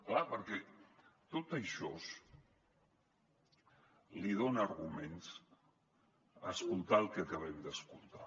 clar perquè tot això li dona arguments a escoltar el que acabem d’escoltar